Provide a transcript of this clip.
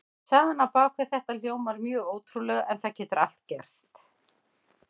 Sagan á bak við þetta hljómar mjög ótrúlega en það getur allt gerst.